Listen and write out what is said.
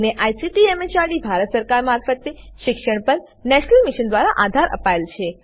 જેને ICT MHRD Bharat સરકાર મારફતે શિક્ષણ પર નેશનલ મિશન દ્વારા આધાર અપાયેલ છે